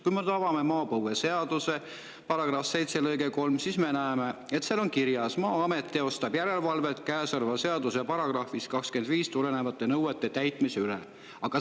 Kui me nüüd avame maapõueseaduse § 107 lõike 3, siis me näeme, et seal on kirjas: "Maa-amet teostab järelevalvet käesoleva seaduse §-st 25 tulenevate nõuete täitmise üle".